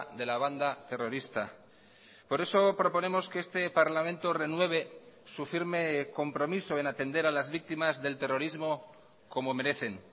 de la banda terrorista por eso proponemos que este parlamento renueve su firme compromiso en atender a las víctimas del terrorismo como merecen